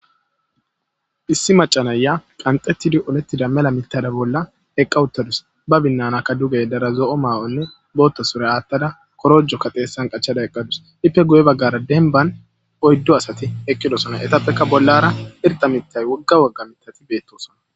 Hissi macanayya qanxettidi olettida mela mitada bolla eqqawuttadus ba binnanakka dugey dara zo'o maawonne bootto sore aattada korojo kateessan qachada eqqadus ippe guye baggara denban oyddo asati eqqidosona etappeka bollara irta mitay wogga wagga mitati beettosona.